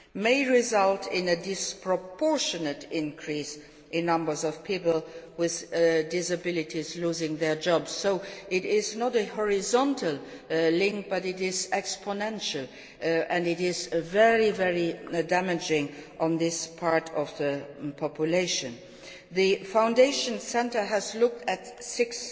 may result in a disproportionate increase in numbers of people with disabilities losing their jobs. There is not a horizontal link, but it is exponential and is very damaging to this part of the population. The Foundation Centre's study has looked